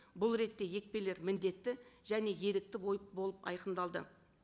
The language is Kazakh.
бұл ретте екпелер міндетті және ерікті болып айқындалды